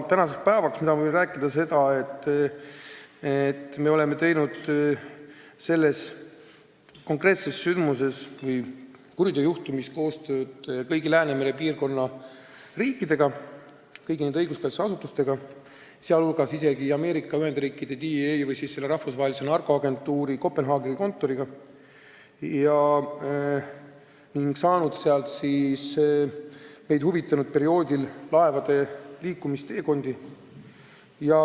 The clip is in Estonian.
Tänasel päeval ma võin rääkida, et me oleme teinud selle konkreetse sündmuse või kuriteojuhtumi asjus koostööd kõigi Läänemere piirkonna riikidega, kõigi nende õiguskaitseasutustega, sh isegi Ameerika Ühendriikide DEA või narkoagentuuri Kopenhaageni kontoriga ning saanud sealt andmeid laevade liikumisteekondade kohta meid huvitaval perioodil.